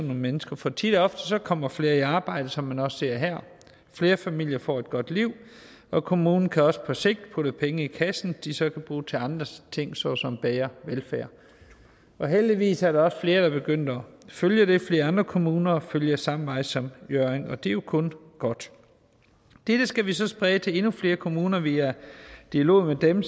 nogle mennesker for tit og ofte kommer flere i arbejde som man også ser her flere familier får et godt liv og kommunen kan også på sigt putte penge i kassen de så kan bruge til andre ting såsom bedre velfærd heldigvis er der også flere der er begyndt at følge det flere andre kommuner følger samme vej som hjørring og det er jo kun godt dette skal vi så sprede til endnu flere kommuner via dialog med dem